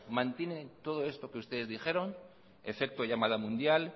mantienen todo esto que ustedes dijeron efecto llamada mundial